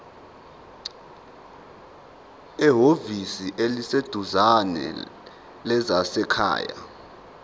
ehhovisi eliseduzane lezasekhaya